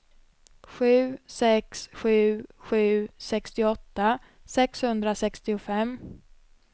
sju sex sju sju sextioåtta sexhundrasextiofem